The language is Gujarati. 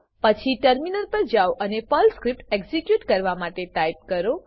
પછી ટર્મિનલ પર જાઓ અને પર્લ સ્ક્રિપ્ટ એક્ઝીક્યુટ કરવા માટે ટાઈપ કરો